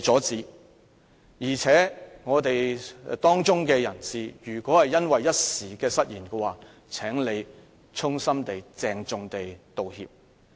他是我們的一分子，如果因為一時失言，他應該衷心鄭重地道歉。